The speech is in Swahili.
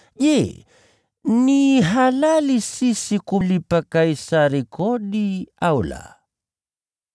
Je, ni halali sisi kulipa kodi kwa Kaisari, au la?”